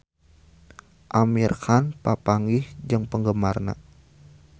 Amir Khan papanggih jeung penggemarna